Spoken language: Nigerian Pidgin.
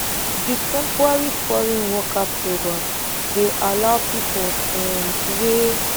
di temporary foreign worker programme dey allow pipo um wey